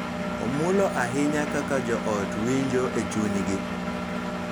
Omulo ahinya kaka joot winjo e chunygi.